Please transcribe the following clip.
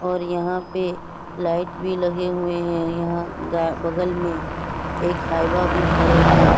और यहाँ पे लाइट भी लगे हुए हैं | यहाँ गा बगल में एक हाइवा भी खड़े हैं |